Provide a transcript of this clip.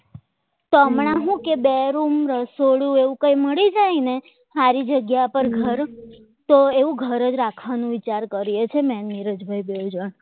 તો હમણાં શું કે બે રૂમ રસોડું એવું કંઈ મળી જાય ને સારી જગ્યા પર ઘર તો એવું ઘર રાખવાનો વિચાર કરીએ છીએ મેં નીરજભાઈ બે જણ